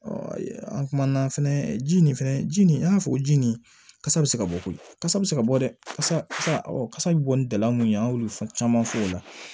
an kumana fɛnɛ ji nin fɛnɛ ji nin an y'a fɔ ko ji nin kasa bɛ se ka bɔ koyi kasa bɛ se ka bɔ dɛ ɔ kasa bɛ bɔ ni dala mun ye an y'olu fɔ caman fɔ o la